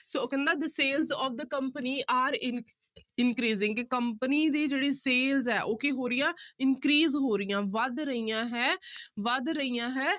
ਤੋਹ ਉਹ ਕਹਿੰਦਾ the sales of the company are in increasing ਕਿ company ਦੀ ਜਿਹੜੀ sales ਹੈ ਉਹ ਕੀ ਹੋ ਰਹੀ ਆ increase ਹੋ ਰਹੀਆਂ ਵੱਧ ਰਹੀਆਂ ਹੈ ਵੱਧ ਰਹੀਆਂ ਹੈ।